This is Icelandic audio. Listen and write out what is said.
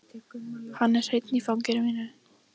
Hann er hreinn í fangi mínu.